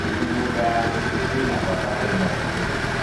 mĩgũnda ya mĩtĩ ina bata harĩ mathiururuka